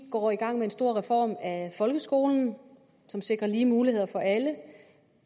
går i gang med en stor reform af folkeskolen som sikrer lige muligheder for alle